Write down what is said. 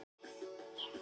Líkt og fram í